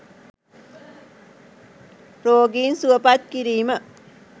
“රෝගීන් සුවපත් කිරීම”